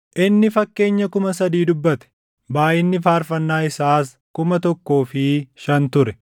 Inni fakkeenya kuma sadii dubbate; baayʼinni faarfannaa isaas kuma tokkoo fi shan ture.